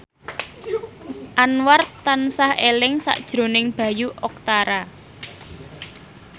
Anwar tansah eling sakjroning Bayu Octara